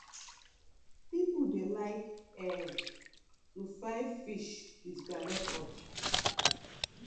people dey like um to fry fish with groundnut oil.